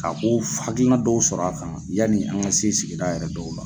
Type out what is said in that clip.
Ka ko hakilina dɔw sɔrɔ a kan yanni an ka se sigida yɛrɛ dɔw la.